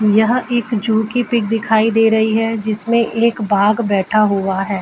यह एक जू की पिक दिखाई दे रही है जिसमें एक बाघ बैठा हुआ है।